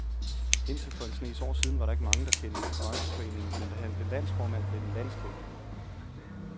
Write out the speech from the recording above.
Indtil for en snes år siden var der ikke mange, der kendte til brancheforeningen, men da han blev landsformand, blev den landskendt.